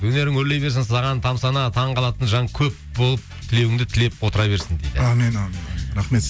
өнерің өрлей берсін саған тамсана таңқалатын жан көп болып тілеуіңді тілеп отыра берсін дейді әумин әумин әумин рахмет